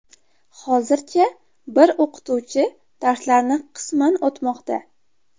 Hozircha bir o‘qituvchi darslarni qisman o‘tmoqda.